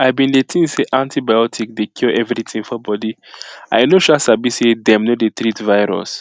i been dey think say antibiotic dey cure everything for body i no um sabi say them no dey treat virus